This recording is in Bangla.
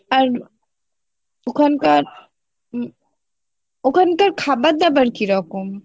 আর ওখানকার উম ওখানকার খাবার দাবার কীরকম?